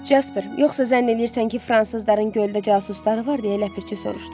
Casper, yoxsa zənn eləyirsən ki, fransızların göldə casusları var, deyə ləpirçi soruşdu.